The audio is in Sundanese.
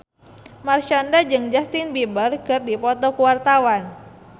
Marshanda jeung Justin Beiber keur dipoto ku wartawan